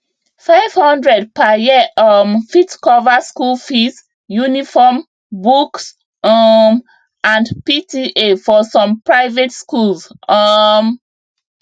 five hundred per year um fit cover school fees uniform books um and pta for some private schools um